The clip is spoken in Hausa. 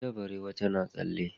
Wata barewa tana tsalle.